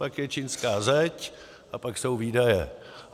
Pak je čínská zeď a pak jsou výdaje.